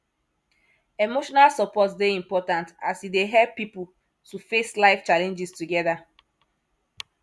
emotional support dey important as e dey help pipo to face life challenges together